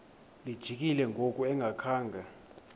lijikile ngoku engakhanga